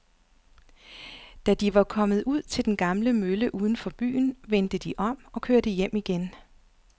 Da de var kommet ud til den gamle mølle uden for byen, vendte de om og kørte hjem igen.